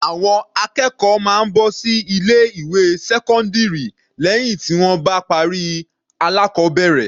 Àwọn akẹ́kọ̀ọ́ máa ń bọ́ sí ilé ìwé sẹ́kọ́ndírì lẹ́hìn tí wọ́n bá parí alákọbẹ̀rẹ̀.